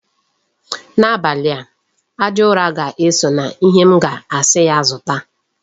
N'abalị a, aja ụrọ ga-eso na ihe m ga-asi ya zụta.